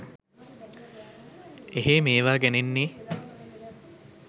එහේ මේවා ගැනෙන්නේ